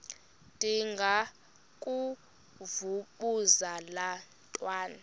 ndengakuvaubuse laa ntwana